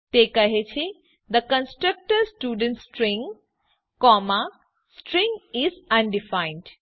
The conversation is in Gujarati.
તે કહે છે the constructor student string comma string is undefined